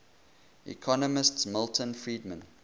economist milton friedman